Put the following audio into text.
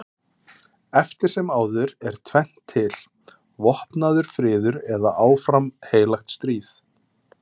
Eftir sem áður er tvennt til: vopnaður friður eða áfram heilagt stríð.